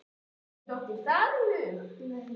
Þér hefur ekki dottið það í hug?